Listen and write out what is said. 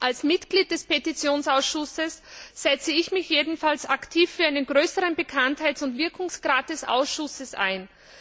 Als Mitglied des Petitionsausschusses setze ich mich jedenfalls aktiv für einen größeren Bekanntheits und Wirkungsgrad des Ausschusses ein.